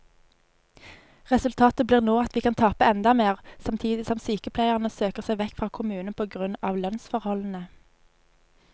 Resultatet blir nå at vi kan tape enda mer, samtidig som sykepleierne søker seg vekk fra kommunen på grunn av lønnsforholdene.